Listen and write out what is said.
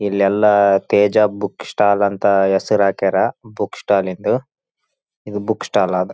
ಇಲ್ಲೆಲ್ಲ Teja book stall ಅಂತ ಹೆಸರಾಕ್ಯಾರ ಬುಕ್ಕ್ ಸ್ಟಾಲಿಂದ ಇದು ಬುಕ್ಕ್ ಸ್ಟಾಲ್ ಅದ್.‌